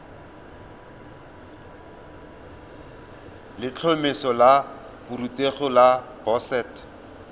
letlhomeso la borutegi la boset